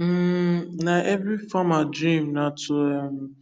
um na every farmer dream na to um